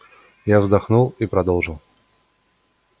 я вздохнул и продолжил